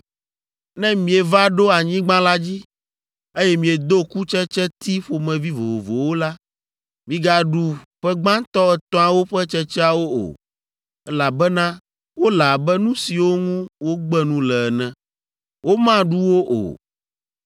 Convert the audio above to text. “ ‘Ne mieva ɖo anyigba la dzi, eye miedo kutsetseti ƒomevi vovovowo la, migaɖu ƒe gbãtɔ etɔ̃awo ƒe tsetseawo o, elabena wole abe nu siwo ŋu wogbe nu le ene. Womaɖu wo o.